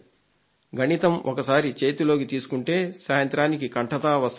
గణితం ఒకసారి చేతిలోకి తీసుకుంటే సాయంత్రానికి కంఠతా వస్తాయని